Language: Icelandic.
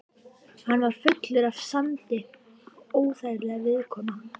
Hann var fullur af sandi og óþægilegur viðkomu.